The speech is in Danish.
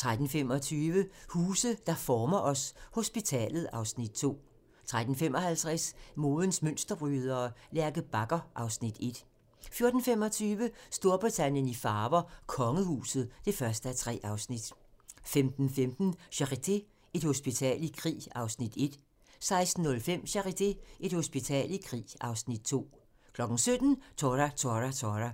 13:25: Huse, der former os: Hospitalet (Afs. 2) 13:55: Modens mønsterbrydere: Lærke Bagger (Afs. 1) 14:25: Storbritannien i farver: Kongehuset (1:3) 15:15: Charité - Et hospital i krig (Afs. 1) 16:05: Charité - Et hospital i krig (Afs. 2) 17:00: Tora! Tora! Tora!